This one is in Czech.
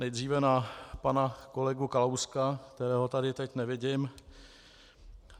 Nejdříve na pana kolegu Kalouska, kterého tady teď nevidím.